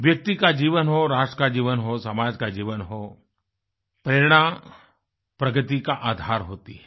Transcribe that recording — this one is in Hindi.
व्यक्ति का जीवन हो राष्ट्र का जीवन हो समाज का जीवन हो प्रेरणा प्रगति का आधार होती है